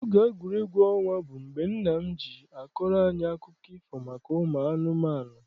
Oge egwuregwu ọnwa bụ mgbe nna m ji akọrọ anyị akụkọ ifo maka ụmụ anụmanụ.